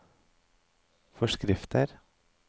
forskrifter